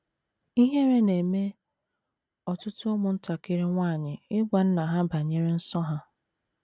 Ihere na - eme ọtụtụ ụmụntakịrị nwanyị ịgwa nna ha banyere nsọ ha.